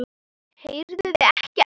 Heyrðuð ekkert?